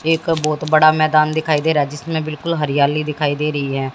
एक बहुत बड़ा मैदान दिखाई दे रहा जिसमें बिल्कुल हरियाली दिखाई दे रही है।